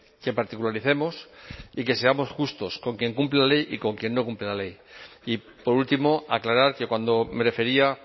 que particularicemos y que seamos justos con quien cumple la ley y con quien no cumple la ley y por último aclarar que cuando me refería